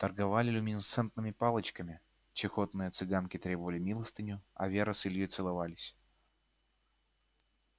торговали люминесцентными палочками чахоточные цыганки требовали милостыню а вера с ильёй целовались